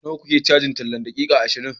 Nawa kuke cajin tallan daƙiƙa ashirin?